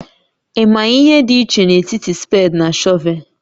Ị maghị ihe dị iche n'etiti spade na shọvel?